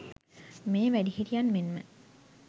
මෙය වැඩිහිටියන් මෙන්ම